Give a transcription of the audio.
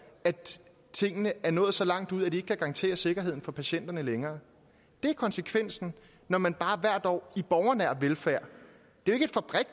at tingene er nået så langt ud at de ikke kan garantere sikkerheden for patienterne længere det er konsekvensen når man bare effektiviserer hvert år i borgernær velfærd